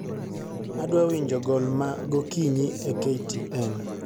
adwa winjo gol ma gokinyi e k.t.n